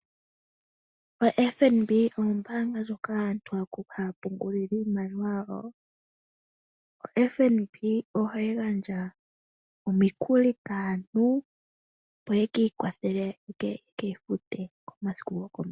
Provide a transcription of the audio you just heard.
Ombaanga ombaanga ndjoka aantu haya pungulako iimaliwa yawo . Ohayi gandja omikuli kaantu , opo yeki ikwathele, yo yekeyi fute komasiku gokomeho.